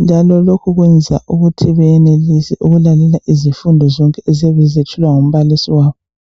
njalo lokhu kwenza ukuthi benelise ukulalela izifundo zonke eziyabe zethulwa ngumbalisi wabo.